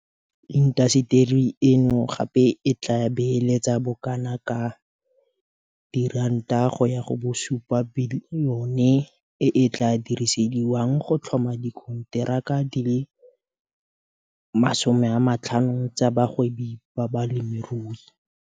Ka bomadimabe batho ba le bantsi ba thuso eno e ka ba tswelang molemo ga ba na lesego la go bona thuso eno ka ntlha ya fa go na le tlhaelo ya batho ba ba neelanang ka mmoko wa bona ba ba nang le madi a a tshwanang le a balwetse.